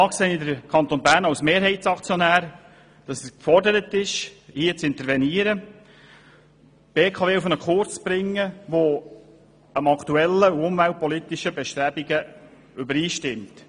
Da sehe ich, dass der Kanton Bern als Mehrheitsaktionär gefordert ist, zu intervenieren und die BKW auf einen Kurs zu bringen, der mit den aktuellen umweltpolitischen Bestrebungen übereinstimmt.